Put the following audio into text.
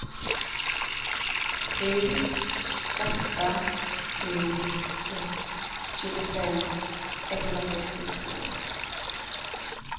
sju åtta sju ett tjugofem etthundrasextiotvå